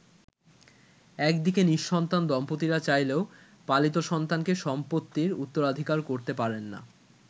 একদিকে নি:সন্তান দম্পতিরা চাইলেও পালিত সন্তানকে সম্পত্তির উত্তরাধিকার করতে পারেননা।